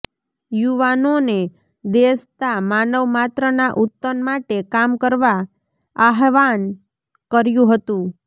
યુવાનોને દેશ તા માનવમાત્રના ઉતન માટે કામ કરવા આહ્વાન કર્યું હતું